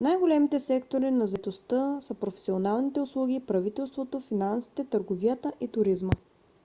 най - големите сектори на заетостта са професионалните услуги правителството финансите търговията и туризма